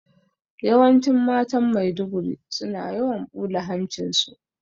Yawanci matan Maiduguri, suna yawan ɓula hancin su.